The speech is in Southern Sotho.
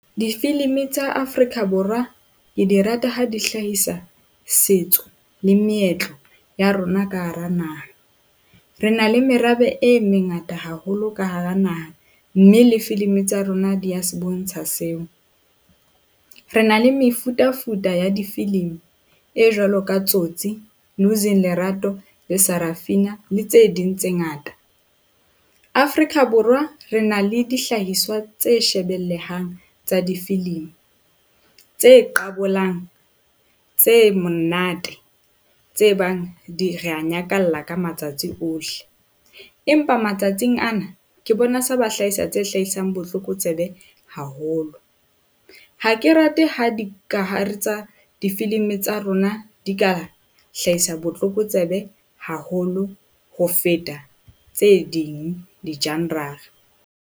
Difilimi tsa Afrika Borwa ke di rata ha di hlahisa setso le meetlo ya rona ka hara naha. Re na le merabe e mengata haholo ka hara naha, mme le filimi tsa rona di a se bontsha seo. Re na le mefutafuta ya difilimi e jwalo ka Tsotsi, Losing Lerato le Sarafina le tse ding tse ngata. Afrika Borwa re na le dihlahiswa tse shebellehang tsa difilimi, tse qabolang tse monate, tse bang di re a nyakalla ka matsatsi ohle, empa matsatsing ana ke bona se ba hlahisa tse hlahisang botlokotsebe haholo. Ha ke rate ha dikahare tsa difilimi tsa rona di ka hlahisa botlokotsebe haholo ho feta tse ding di-genre-ra.